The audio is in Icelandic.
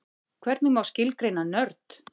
hvernig má skilgreina nörd